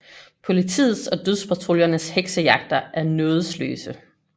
Politiets og dødspatruljernes heksejagter er nådesløse